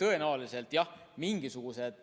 Tõenäoliselt, jah, mingisuguseid